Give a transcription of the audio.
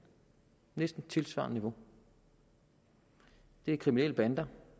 næsten tilsvarende niveau det er kriminelle bander